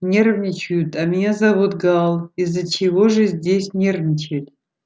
нервничают а меня зовут гаал из-за чего же здесь нервничать